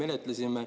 Aitäh!